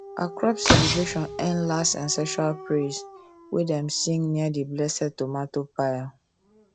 our crop celebration end last ancestral praise wey dem sing near the blessed tomato pile